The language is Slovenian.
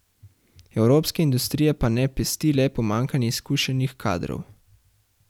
O svojem dedku.